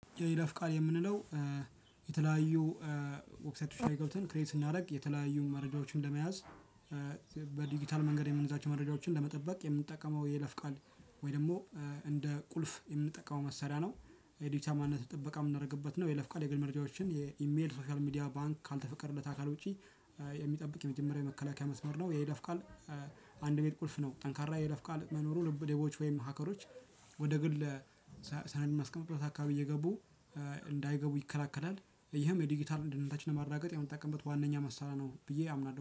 የይለፍ ቃል የምንለው የተለያዩ ዊብሳይቶች ላይ ገብተን ክሬት ስናደርግ የተለያዩ መረጃዎችን ለመያዝ በዲጂታል መንገድ የምንይዛቸው መረጃዎችን ለመጠበቅ የምንጠቀመው የይለፍ ቃል ወይ ደግሞ እንደ ቁልፍ የምንጠቀመው መሰሪያ ነው። የዲጂታል ማንነት ጥበቃ እምናረግበት ነው የይለፍ ቃል የግል መረጃዎችን የኢሜል ሶሻል ሚዲያ ባንክ ካልተፈቀደለት አካል ውጪ የሚጠብቅ የመጀመሪያ የመከላከያ መስመር ነው። የይለፍ ቃል አንድ ቤት ቁልፍ ነው። ጠንካራ የይለፍ ቃል መኖሩ ሌቦች ወይም ሀከሮች ወደ ግል ሰነድ እምናስቀምጥበት አካባቢ እየገቡ እንዳይገቡ ይከላከላል። ይህም የዲጂታል ደህንነታችን ለማረጋገጥ የምንጠቀምበት ዋናኛ መሳሪያ ነው ብዬ አምናለሁ